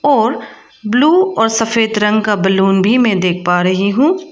और ब्लू और सफेद रंग का बैलून भी मैं देख पा रही हूं।